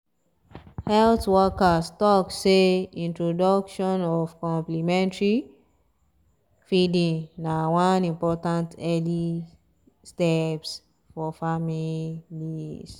health workers talk seh introduction of complementary feeding na one important early steps for families